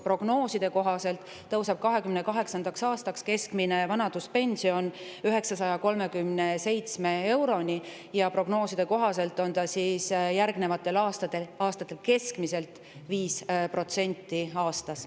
Prognooside kohaselt tõuseb keskmine vanaduspension 2028. aastaks 937 euroni ja järgnevatel aastatel keskmiselt 5% aastas.